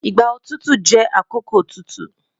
Igba otutu jẹ akoko tutu